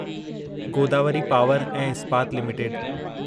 Godavari power ऐं इस्पात limited